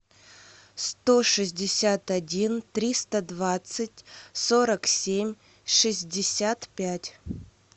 сто шестьдесят один триста двадцать сорок семь шестьдесят пять